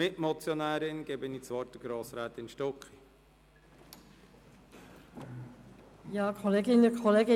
Ich gebe Grossrätin Stucki als Mitmotionärin das Wort.